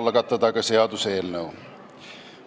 algatada seaduseelnõu.